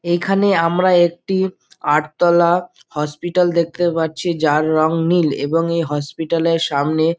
এই খানে আমরা একটি আট তালা হসপিটাল দেখতে পারছি যার রং নীল এবিং এই হসপিটাল -এ সামনে --